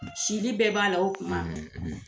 Sili bɛɛ b'a la o tuma